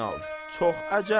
Çox əcəb.